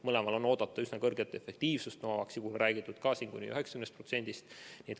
Mõlema puhul on oodata üsna suurt efektiivsust, Novavaxi puhul on räägitud ka kuni 90%.